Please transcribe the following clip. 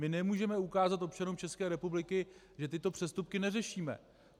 My nemůžeme ukázat občanům České republiky, že tyto přestupky neřešíme.